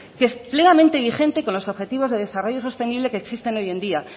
que vigente con los objetivos de desarrollo sostenibles que existen hoy en día